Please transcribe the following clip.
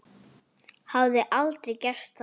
Hafði aldrei gert það.